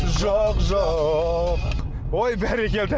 жоқ жоқ ой бәрекелді